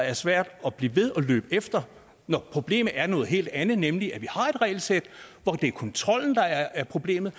er svært at blive ved at løbe efter når problemet er noget helt andet nemlig at vi har et regelsæt hvor det er kontrollen der er problemet